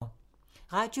Radio 4